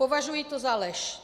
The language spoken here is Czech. Považuji to za lež.